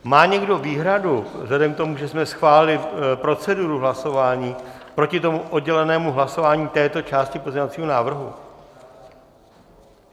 Má někdo výhradu vzhledem k tomu, že jsme schválili proceduru hlasování, proti tomu oddělenému hlasování této části pozměňovacího návrhu?